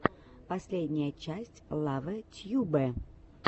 последняя часть лавэ тьюбэ